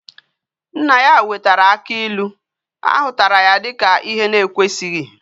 Nne ya wetara aki ilu, ahutara ya dika ihe na ekwesighi